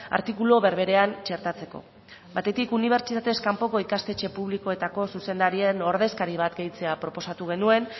artikulu berberean txertatzeko batetik unibertsitatez kanpoko ikastetxe publikoetako zuzendarien ordezkari bat gehitzea proposatu genuen